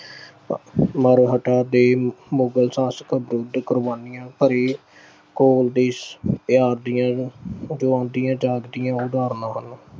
ਦੇ ਮੁ ਅਹ ਮੁਗਲ ਸ਼ਾਸਕ ਵਿਰੁੱਧ ਕੁਰਬਾਨੀਆਂ ਭਰੇ ਦੇਸ਼ ਪਿਆਰ ਦੀਆਂ ਜਿਉਂਦੀਆਂ ਜਾਗਦੀਆਂ ਉਦਾਰਣਾਂ ਹਨ।